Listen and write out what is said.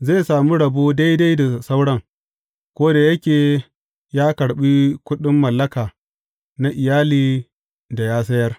Zai sami rabo daidai da sauran, ko da yake ya karɓi kuɗin mallaka na iyali da ya sayar.